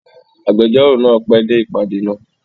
Agbẹjọ́rò náà pẹ́ dé ìpàdé náà.